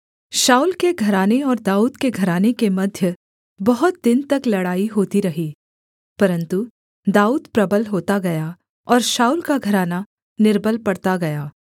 शाऊल के घराने और दाऊद के घराने के मध्य बहुत दिन तक लड़ाई होती रही परन्तु दाऊद प्रबल होता गया और शाऊल का घराना निर्बल पड़ता गया